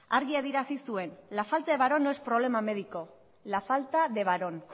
argi adierazi zuen la falta de varón no es problema médico la falta de varón